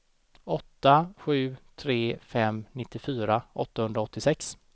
åtta sju tre fem nittiofyra åttahundraåttiosex